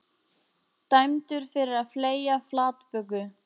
Dæmdur fyrir að fleygja flatböku